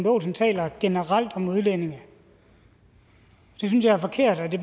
olsen taler generelt om udlændinge det synes jeg er forkert og det